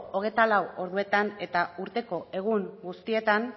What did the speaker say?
hogeita lau orduetan eta urteko egun guztietan